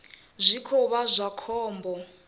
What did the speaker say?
zwi khou vha zwa khombo